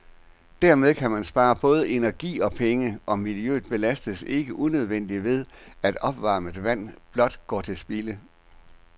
Dermed kan man spare både energi og penge, og miljøet belastes ikke unødigt ved, at opvarmet vand blot går til spilde.